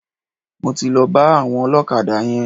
Mo ti lọ bá àwọn ọlọ́kadà yẹn.